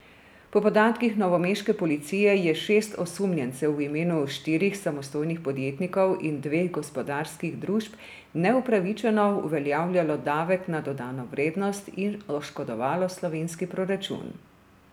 Po podatkih novomeške policije je šest osumljencev v imenu štirih samostojnih podjetnikov in dveh gospodarskih družb neupravičeno uveljavljalo davek na dodano vrednost in oškodovalo slovenski proračun.